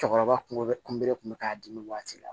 Cɛkɔrɔba kun bɛ kunbele kun bɛ k'a dimi waati la